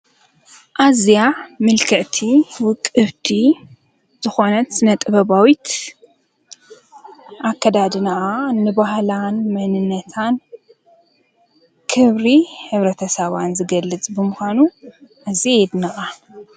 ኣዚያ ምልከቲ ውቕብቲ ዝኾነት ስነ-ጥበባዊት ኣከዳድናኣ ንበህሊ መንነተን ክብሪ ሕብረተሰባውያን ዝገልፅ ብምኳኑ ኣዝየ የድንቃ ።።